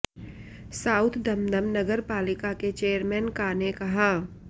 south Dum Dum नगरपालिका के chairman का ने कहा